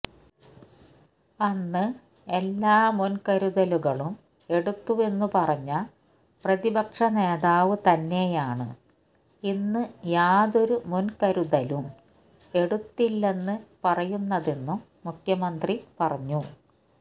അന്ന് എല്ലാ മുൻകരുതലുകളും എടുത്തുവെന്ന് പറഞ്ഞ പ്രതിപക്ഷ നേതാവ് തന്നെയാണ് ഇന്ന് യാതൊരു മുൻകരുതലും എടുത്തില്ലെന്ന് പറയുന്നതെന്നും മുഖ്യമന്ത്രി പറഞ്ഞു